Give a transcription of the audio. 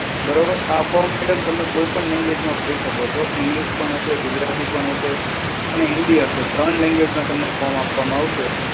બરોબર? આ form madam તમે કોઈ પણ language માં ભરી શકો છો. English પણ હશે, ગુજરાતી પણ હશે, અને હિન્દી હશે. ત્રણ language માં તમને આપવામાં આવશે.